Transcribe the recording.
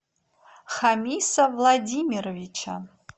хамиса владимировича